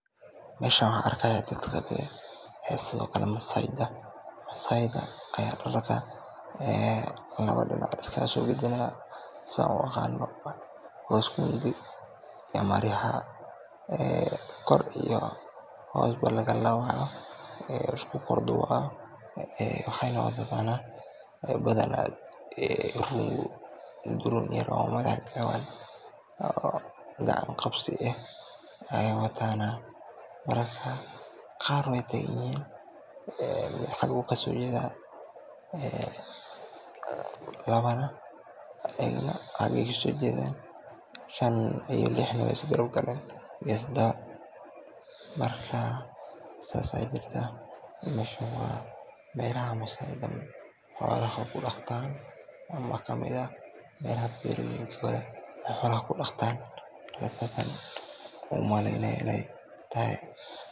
Meeshan waxaan arkaaya dadka masaayda, masaayda ayaa labada dinac iska soo hor jeeda, saan u aqaano waa isku hidi iyo maryaha, kor ayeey ka xirtaan waay isku kor duuban, badanaa maryahan ayeey wataana, labana dinac ayeey kasoo jeedan labana dinaca kale, shan iyo lix neh waay is daba galeen iyo tadaba, marka saas ayaa jirtaa, meeshan waa meelaha masaayda ayeey xoolaha ku daqtaan ama meelaha beeroyinkooda, saas ayaan umaleynaya inaay tahay.